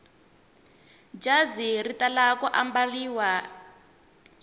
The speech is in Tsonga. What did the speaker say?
jazi ri tala ku ambariwa hi sonto